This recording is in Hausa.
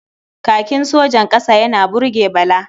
Kakin sojan ƙasa yana burge Bala.